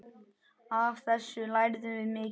Af þessu lærðum við mikið.